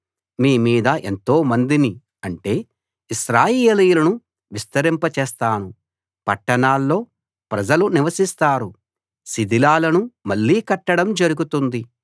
మీ మీద ఎంతోమందిని అంటే ఇశ్రాయేలీయులను విస్తరింప చేస్తాను పట్టణాల్లో ప్రజలు నివసిస్తారు శిథిలాలను మళ్ళీ కట్టడం జరుగుతుంది